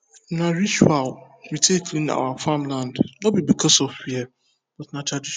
na ritual we take clean our farmland no be because of fear but na tradition